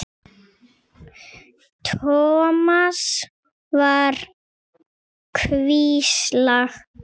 Thomas var hvíslað lágt.